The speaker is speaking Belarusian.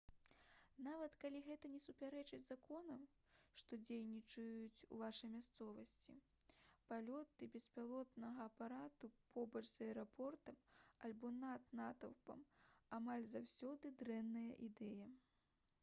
нават калі гэта не супярэчыць законам што дзейнічаюць у вашай мясцовасці палёты беспілотнага апарату побач з аэрапортам альбо над натоўпам амаль заўсёды дрэнная ідэя